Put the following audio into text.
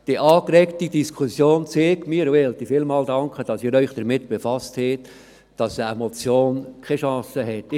Die angeregte Diskussion hat mir gezeigt, dass eine Motion keine Chance hat.